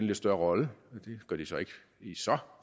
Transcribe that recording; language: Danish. lidt større rolle det gør de så ikke i så